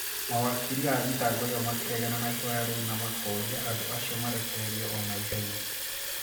Mawakiri a thitango ĩyo makĩregana na ihoya rĩu na makoria andũ acio marekererio o na ihenya.